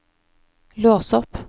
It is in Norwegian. lås opp